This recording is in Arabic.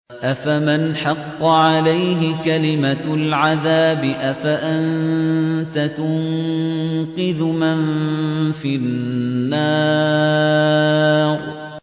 أَفَمَنْ حَقَّ عَلَيْهِ كَلِمَةُ الْعَذَابِ أَفَأَنتَ تُنقِذُ مَن فِي النَّارِ